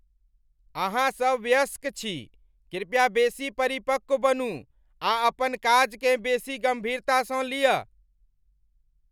अहाँ सभ वयस्क छी! कृपया बेसी परिपक्व बनू आ अपन काजकेँ बेसी गम्भीरतासँ लिय ।